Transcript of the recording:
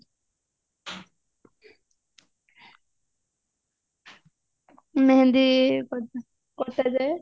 mehndi